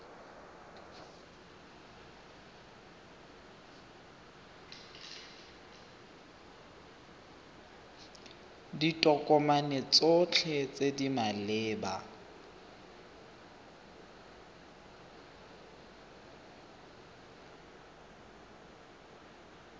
ditokomane tsotlhe tse di maleba